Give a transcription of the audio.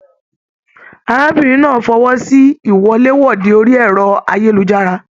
Arábìnrin náà fọwọsi iwọ̀lèwọ̀de orí ẹrọ ayélujára.